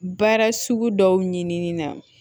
Baara sugu dɔw ɲinini na